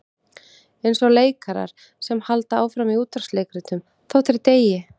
Eins og leikarar sem halda áfram í útvarpsleikritum þótt þeir deyi.